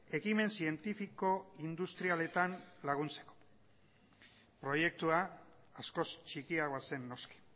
ekimen zientifiko industrialetan laguntzeko proiektua askoz txikiagoa zen noski